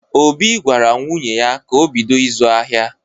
Obi gwara nwunye ya ka o bido ịzụ ahịa.